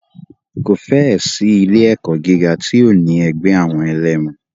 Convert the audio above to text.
Kò fẹ́ ẹ̀ sí ilé ẹ̀kọ́ gíga tí ò ní ẹgbẹ́ àwọn ẹlẹmu.